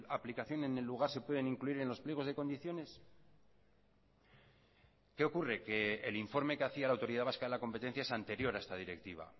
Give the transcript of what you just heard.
aplicación en el lugar se pueden incluir en los pliegos de condiciones qué ocurre que el informe que hacía la autoridad vasca de la competencia es anterior a esta directiva